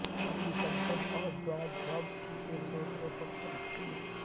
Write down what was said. Hillary Clinton اور Donald Trump کی ایک دوسرے پر تنقید